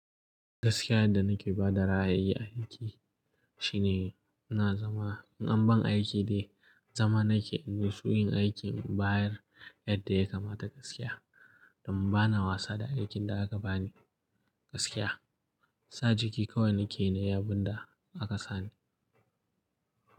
Gaskiya yadda na ke bada ra'ayi aiki shine na zama in anban aiki dai zama nake in nitsu in aiki in bayar yadda ya kamata gaskiya don ba na wasa da aikin da aka bani gaskiya. Sa jiki kawai nake yi na yi abun da aka sani.